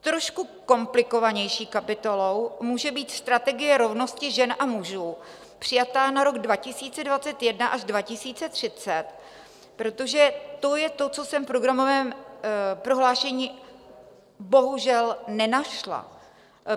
Trošku komplikovanější kapitolou může být strategie rovnosti žen a mužů přijatá na rok 2021 až 2030, protože to je to, co jsem v programovém prohlášení bohužel nenašla.